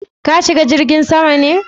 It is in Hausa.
Ka shiga jirgin sama be?